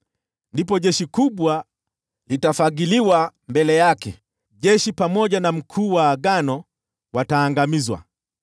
Ndipo jeshi kubwa litafagiliwa mbele yake; jeshi pamoja na mkuu mmoja wa agano wataangamizwa.